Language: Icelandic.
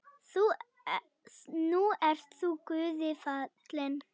Nú ert þú Guði falinn.